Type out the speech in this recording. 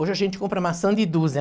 Hoje a gente compra maçã de dúzia.